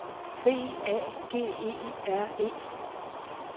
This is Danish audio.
B A G E R E